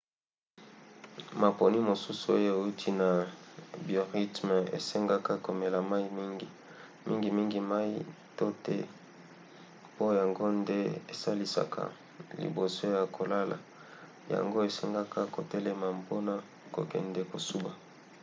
maponi mosusu oyo euti na biorythme esengaka komela mai mingi mingimingi mai to the po yango nde esalisaka liboso ya kolala yango esengaka kotelema mpona kokende kosuba